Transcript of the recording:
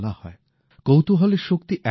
কৌতূহলের শক্তি এমনই হয়